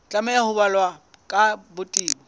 tlameha ho balwa ka botebo